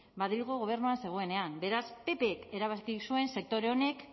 madrilgo gobernuan zegoenean beraz ppk erabaki zuen sektore honek